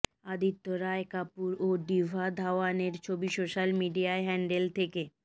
আদিত্য রায় কাপুর ও ডিভা ধাওয়ানের ছবি সোশাল মিডিয়া হ্যান্ডল থেকে